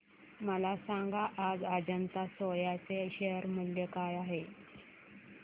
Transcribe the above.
मला सांगा आज अजंता सोया चे शेअर मूल्य काय आहे